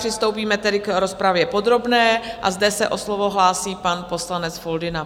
Přistoupíme tedy k rozpravě podrobné a zde se o slovo hlásí pan poslanec Foldyna.